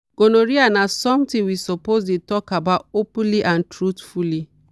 gonorrhea na something we suppose dey talk about openly and truthfully.